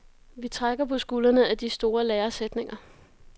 Vi trækker på skuldrene ad de store læresætninger.